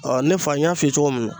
Ɔ ne fɔ n y'a f'i ye cogo min na